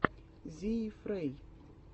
зиифрей